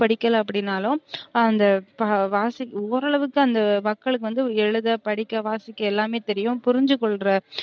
படிக்கல அப்டினாலும் அந்த வாசிக் ஓரளவுக்கு அந்த மக்களுக்கு வந்து எழுத படிக்க வாசிக்க எல்லாமே தெரியும் புரிஞ்சுகொள்ற